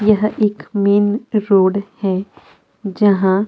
यह एक मेन एक रोड हैं जहाँ--